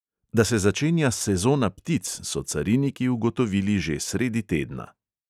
Da se začenja "sezona ptic", so cariniki ugotovili že sredi tedna.